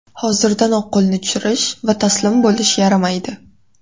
Hozirdanoq qo‘lni tushirish va taslim bo‘lish yaramaydi.